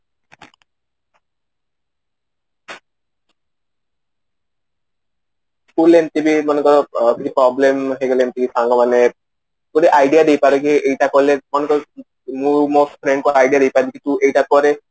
school ରେ ଏମିତି ବି ମନେକର କିଛି problem ହେଇଗଲା ଏମିତି କି ସାଙ୍ଗ ମାନେ କି idea ଦେଇପାରିବେ ଏଇଟା କଲେ ମନେକର ମୋ friend କୁ idea ଦେଇ ପାରିବି କିଛି ଏଇଟା କରେ